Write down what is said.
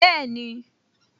Bẹ́ẹ̀ni